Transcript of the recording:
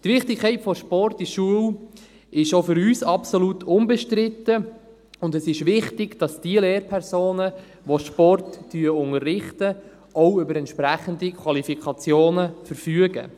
Die Wichtigkeit des Sports in der Schule ist auch für uns absolut unbestritten, und es ist wichtig, dass die Lehrpersonen, die Sport unterrichten, auch über entsprechende Qualifikationen verfügen.